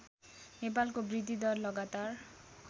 नेपालको वृद्धिदर लगातार